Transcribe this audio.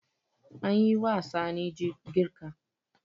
An yi wa Sani girka.